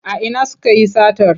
A ina sukayi satar?